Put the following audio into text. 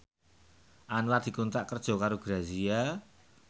Anwar dikontrak kerja karo Grazia